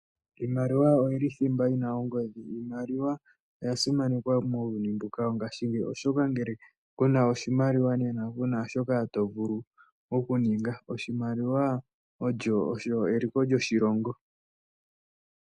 Iimaliwa oyili thimba yina ongodhi. Iimaliwa oyasimanekwa muuyuni wongaashingeyi shoka ngele kuna oshimaliwa kuna shoka tovulu okuninga. Oshimaliwa osho eliko lyoshilongo.